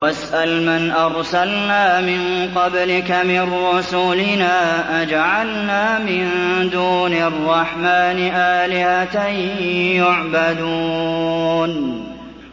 وَاسْأَلْ مَنْ أَرْسَلْنَا مِن قَبْلِكَ مِن رُّسُلِنَا أَجَعَلْنَا مِن دُونِ الرَّحْمَٰنِ آلِهَةً يُعْبَدُونَ